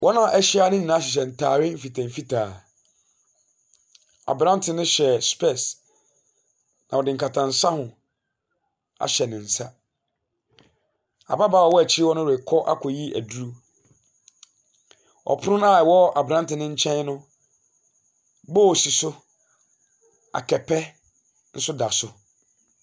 Wɔn abshyia ne nyinaa hyehyɛ ntaade mfitaa mfitaa. Aberanteɛ no hyɛ sepɛɛse a ɔde nkata nsaho ahyɛ ne nsa. Ababaawa ɔwɔ akyi no rekɔ akɔyi aduro. Ɔpono no a ɔwɔ aberante ne nkyɛn no, bowl si a kɛtɛ nso da so.